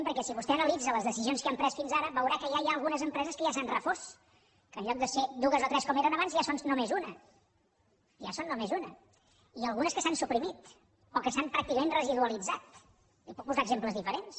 perquè si vostè analitza les decisions que hem pres fins ara veurà que ja hi ha algunes empreses que ja s’han refós que en lloc de ser dues o tres com eren abans ja en són només una ja en són només una i algunes que s’han suprimit o que s’han pràcticament residualitzat li’n puc posar exemples diferents